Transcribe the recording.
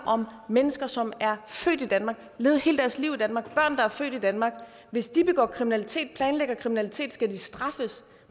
om mennesker som er født i danmark og levet hele deres liv i danmark børn der er født i danmark hvis de begår kriminalitet eller planlægger kriminalitet skal de straffes